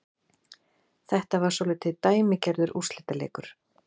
Þetta var svolítið dæmigerður úrslitaleikur